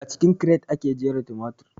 A cikin kiret ake jera tumatir